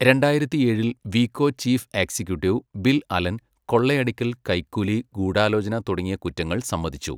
രണ്ടായിരത്തിയേഴിൽ, Veco chief executive Bill Allen കൊള്ളയടിക്കൽ, കൈക്കൂലി, ഗൂഢാലോചന തുടങ്ങിയ കുറ്റങ്ങൾ സമ്മതിച്ചു.